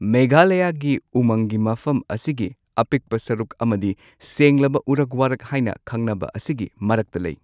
ꯃꯦꯘꯥꯂꯌꯥꯒꯤ ꯎꯃꯪꯒꯤ ꯃꯐꯝ ꯑꯁꯤꯒꯤ ꯑꯄꯤꯛꯄ ꯁꯔꯨꯛ ꯑꯃꯗꯤ ꯁꯦꯡꯂꯕ ꯎꯔꯛ ꯋꯥꯔꯛ ꯍꯥꯏꯅ ꯈꯪꯅꯕ ꯑꯁꯤꯒꯤ ꯃꯔꯛꯇ ꯂꯩ꯫